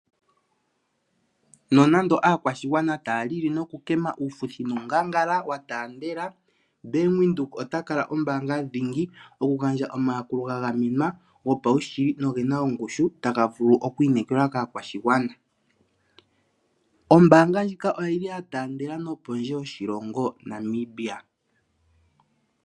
Nonando aakwashigwana taa lili noku kema uufuthi nuungangala wa taandela, Bank Windhoek ota kala ombaanga dhingi oku gandja omayakulo ga gamenwa, gopawushili nogena ongushu taga vulu okwiinekelwa kaakwashigana. Ombaanga ndjika oyi li yataandela nopondje yoshilongo Namibia.